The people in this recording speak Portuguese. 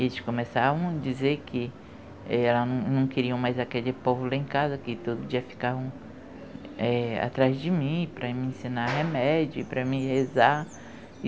Eles começavam a dizer que, é, não queriam mais aquele povo lá em casa, que todo dia ficavam atrás de mim, para me ensinar remédio, para me rezar.